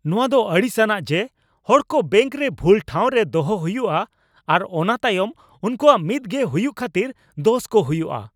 ᱱᱚᱣᱟ ᱫᱚ ᱟᱲᱤᱥ ᱟᱱᱟᱜ ᱡᱮ ᱦᱚᱲ ᱠᱚ ᱵᱮᱝᱠ ᱨᱮ ᱵᱷᱩᱞ ᱴᱷᱟᱶ ᱨᱮ ᱫᱚᱦᱚ ᱦᱩᱭᱩᱜᱼᱟ , ᱟᱨ ᱚᱱᱟ ᱛᱟᱭᱚᱢ ᱩᱱᱠᱩᱣᱟᱜ ᱢᱤᱫ ᱜᱮ ᱦᱩᱭᱩᱜ ᱠᱷᱟᱛᱤᱨ ᱫᱳᱥ ᱠᱚ ᱦᱩᱭᱩᱜᱼᱟ ᱾